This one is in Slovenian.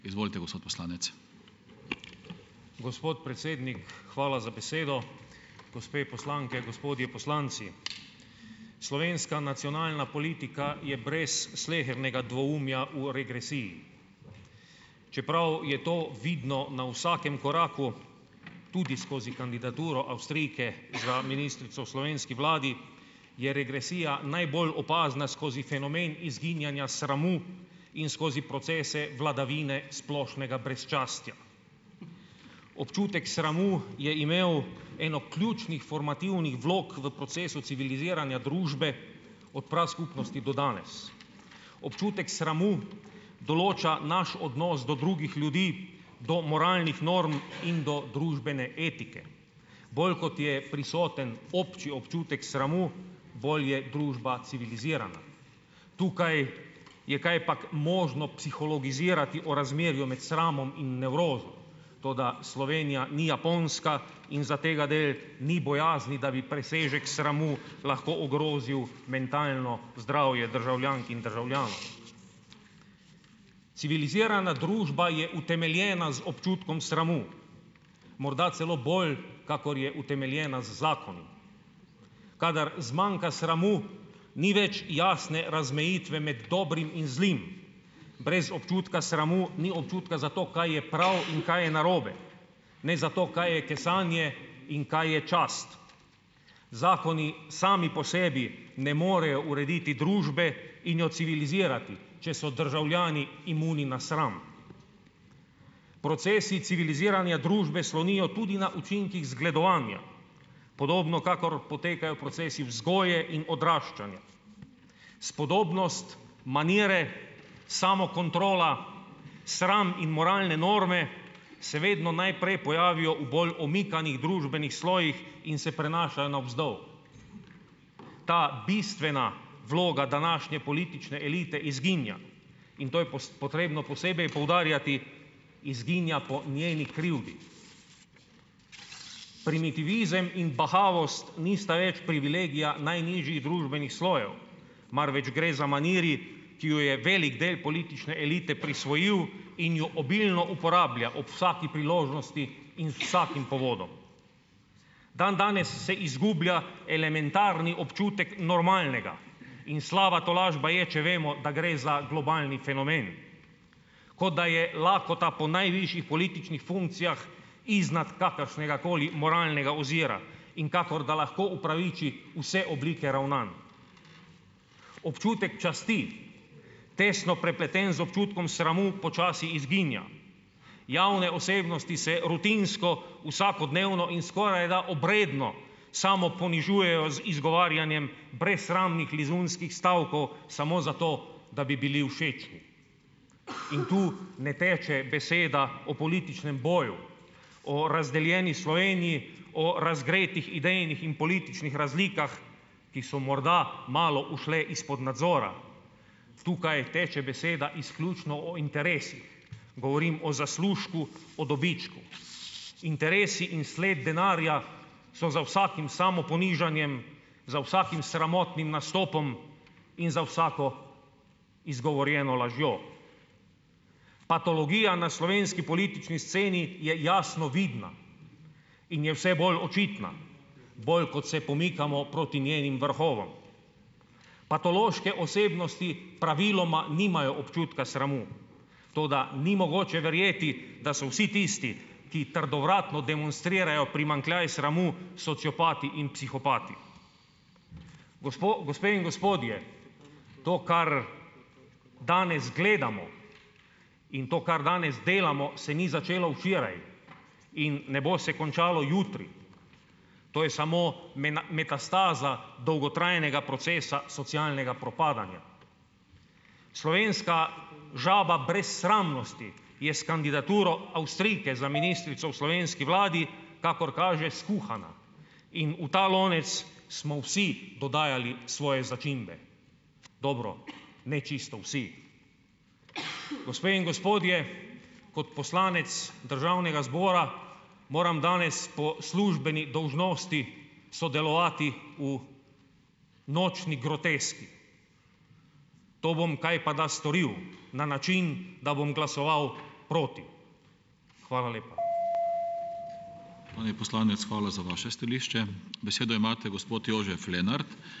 Gospod predsednik hvala za besedo, gospe poslanke, gospodje poslanci. Slovenska nacionalna politika je brez slehernega dvoumja v regresiji, čeprav je to vidno na vsakem koraku tudi skozi kandidaturo Avstrijke za ministrico v slovenski vladi, je regresija najbolj opazna skozi fenomen izginjanja sramu in skozi procese vladavine splošnega brezčastja. Občutek sramu je imel eno ključnih formativnih vlog v procesu civiliziranja družbe od praskupnosti do danes. Občutek sramu določa naš odnos do drugih ljudi, do moralnih norm in do družbene etike. Bolj, kot je prisoten občutek sramu, bolj je družba civilizirana. Tukaj je kajpak možno psihologizirati o razmerju med sramom in nevrozo, toda Slovenija ni Japonska in zategadelj ni bojazni, da bi presežek sramu lahko ogrozil mentalno zdravje državljank in državljanov. Civilizirana družba je utemeljena z občutkom sramu, morda celo bolj, kakor je utemeljena z zakonom. Kadar zmanjka sramu, ni več jasne razmejitve med dobrim in zlim, brez občutka sramu ni občutka za to, kaj je prav in kaj je narobe, ne za to, kaj je kesanje in kaj je čast. Zakoni sami po sebi ne morejo urediti družbe in jo civilizirati, če so državljani imuni na sram. Procesi civiliziranja družbe slonijo tudi na učinkih zgledovanja, podobno kakor potekajo procesi vzgoje in odraščanja. Spodobnost, manire, samokontrola, sram in moralne norme se vedno najprej pojavijo v bolj omikanih družbenih slojih in se prenašajo navzdol. Ta bistvena vloga današnje politične elite izginja in to je potrebno posebej poudarjati, izginja po njeni krivdi. Primitivizem in bahavost nista več privilegija najnižjih družbenih slojev, marveč gre za maniri, ki jo je velik del politične elite prisvojil in jo obilno uporablja ob vsak priložnosti in z vsakim povodom. Dandanes se izgublja elementarni občutek normalnega in slaba tolažba je, če vemo, da gre za globalni fenomen, kot da je lakota po najvišjih političnih funkcijah iznad kakršnegakoli moralnega ozira, in kakor da lahko opraviči vse oblike ravnanj. Občutek časti, tesno prepleten z občutkom sramu, počasi izginja, javne osebnosti se rutinsko, vsakodnevno in skorajda obredno, samoponižujejo z izgovarjanjem brezsramnih lizunskih stavkov, samo zato, da bi bili in tu ne teče beseda o političnem boju, o razdeljeni Sloveniji, o razgretih idejnih in političnih razlikah, ki so morda malo ušle izpod nadzora. Tukaj teče beseda izključno o interesih. Govorim o zaslužku, o dobičku. Interesi in sled denarja, so za vsakim samoponižanjem, za vsakim sramotnim nastopom in za vsako izgovorjeno lažjo. Patologija na slovenski politični sceni je jasno vidna in je vse bolj očitna, bolj, kot se pomikamo proti njenim vrhovom. Patološke osebnosti praviloma nimajo občutka sramu, toda ni mogoče verjeti, da so vsi tisti, ki trdovratno demonstrirajo primanjkljaj sramu, sociopati in psihopati. gospe in gospodje, to, kar danes gledamo, in to, kar danes delamo, se ni začelo včeraj in ne bo se končalo jutri, to je samo metastaza dolgotrajnega procesa socialnega propadanja. Slovenska žaba brezsramnosti je s kandidaturo Avstrijke za ministrico v slovenski vladi, kakor kaže, skuhana in v ta lonec smo vsi dodajali svoje začimbe. Dobro, ne čisto vsi. Gospe in gospodje, kot poslanec državnega zbora, moram danes po službeni dolžnosti sodelovati v nočni groteski. To bom kajpada storil, na način, da bom glasoval proti. Hvala lepa.